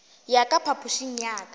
ya ka phapošing ya ka